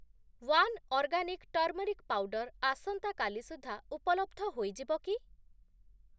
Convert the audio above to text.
One organic turmeric powder ଆସନ୍ତା କାଲି ସୁଦ୍ଧା ଉପଲବ୍ଧ ହୋଇଯିବ କି?